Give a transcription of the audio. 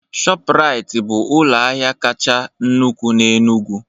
Shọpraiti bụ ụlọ ahịa kacha nnukwu n'Enugwu